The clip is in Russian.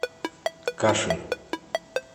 кашин